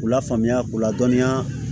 K'u lafaamuya k'u ladɔnniya